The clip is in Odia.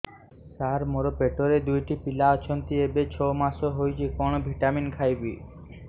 ସାର ମୋର ପେଟରେ ଦୁଇଟି ପିଲା ଅଛନ୍ତି ଏବେ ଛଅ ମାସ ହେଇଛି କଣ ଭିଟାମିନ ଖାଇବି